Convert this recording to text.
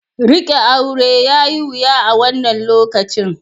Riƙe aure yayi wuya a wannan lokacin.